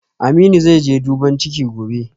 Aminu zaije duban ciki gobe